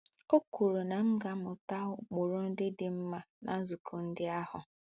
O kwuru na m ga - amụta ụkpụrụ ndị dị mma ná nzukọ ndị ahụ.